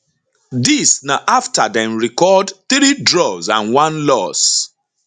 dis na afta dem record 3 draws and 1 loss